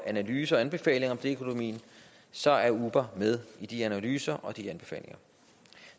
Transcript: analyser og anbefalinger om deleøkonomien så er uber med i de analyser og de anbefalinger